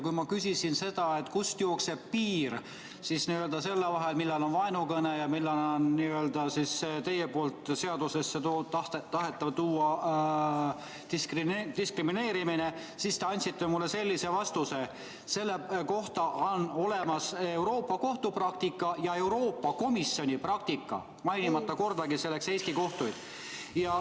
Kui ma küsisin, kust jookseb piir selle vahel, millal on tegemist vaenukõnega ja millal on teie poolt seadusesse tuua tahetav diskrimineerimine, siis te andsite mulle sellise vastuse, et selle kohta on olemas Euroopa Kohtu praktika ja Euroopa Komisjoni praktika, mainimata kordagi Eesti kohtuid.